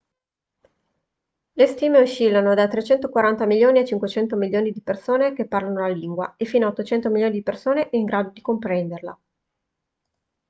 le stime oscillano da 340 milioni a 500 milioni di persone che parlano la lingua e fino a 800 milioni di persone in grado di comprenderla